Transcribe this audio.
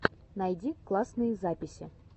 найди классные записи